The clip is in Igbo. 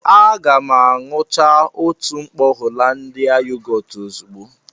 Aga m aṅucha otu mkpọ Hollandia yogọọtu ozugbo